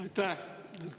Aitäh!